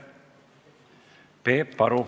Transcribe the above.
Peep Aru.